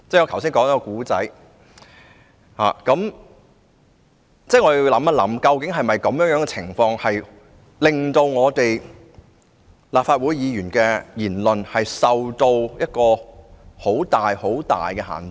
我們要想想，究竟這情況會否令立法會議員的言論受到很大限制？